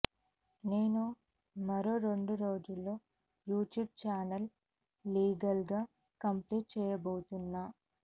నేను మరో రెండు రోజుల్లో యూట్యూబ్ ఛానల్స్ లీగల్ గా కంప్లైంట్ చేయబోతున్నా